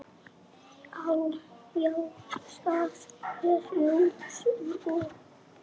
Jæja það er nú svo.